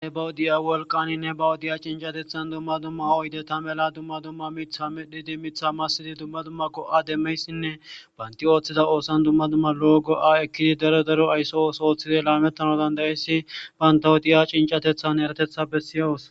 Ne bawudiya wolqaninne ba wudiya cincatethan dumma dumma oyde ta mela dumma dumma mitha midhidi mitha massidi dumma dumma go7a demmeyssinne baynti ooththida oosan dumma dumma lo7o go7a ekkidi daro daro aysso os ooththide laamettano dandayisi bantawudiya cincatethan eratetha bessiyawus.